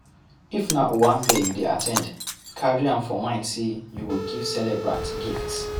If na owambe you dey at ten d carry am for mind sey you go give celebrant gift